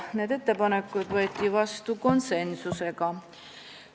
Need ettepanekud võeti vastu konsensuslikult.